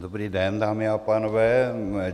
Dobrý den, dámy a pánové.